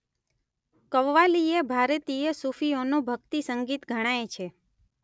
કવ્વાલી એ ભારતીય સૂફીઓનું ભક્તિસંગીત ગણાય છે.